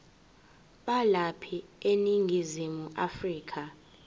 balapha eningizimu afrika